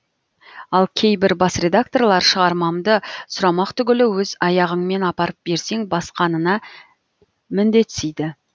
ал кейбір бас редакторлар шығармамды сұрамақ түгілі өз аяғыңмен апарып берсең басқанына міндетсиді